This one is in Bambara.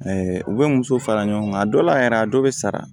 u bɛ muso fara ɲɔgɔn kan a dɔw la yɛrɛ a dɔw bɛ sara